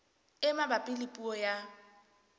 e mabapi le puo ya